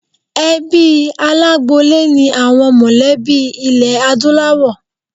Ẹbí alágboolé ni àwọn mọlẹ̀bí ilé Adúláwọ̀.